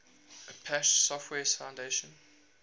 apache software foundation